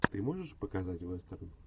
ты можешь показать вестерн